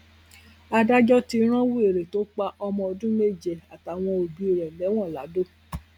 adájọ ti rán wẹrẹ tó pa ọmọ ọdún méje àtàwọn òbí rẹ lẹwọn ladọ